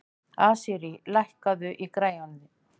Asírí, lækkaðu í græjunum.